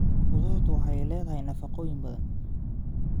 Khudradu waxay leedahay nafaqooyin badan.